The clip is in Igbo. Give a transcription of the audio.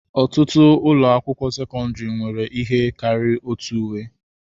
Ọtụtụ ụlọ akwụkwọ sekọndrị nwere ihe karịrị otu uwe.